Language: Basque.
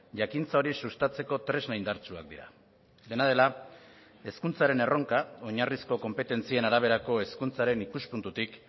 jakintza hori sustatzeko tresna indartsuak dira dena dela hezkuntzaren erronka oinarrizko konpetentzien araberako hezkuntzaren ikuspuntutik